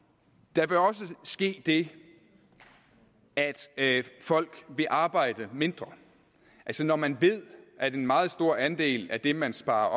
der vil også ske det at folk vil arbejde mindre altså når man ved at en meget stor andel af det man sparer